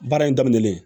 Baara in daminɛlen